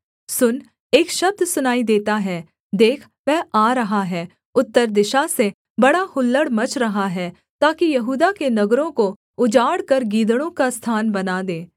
सुन एक शब्द सुनाई देता है देख वह आ रहा है उत्तर दिशा से बड़ा हुल्लड़ मच रहा है ताकि यहूदा के नगरों को उजाड़ कर गीदड़ों का स्थान बना दे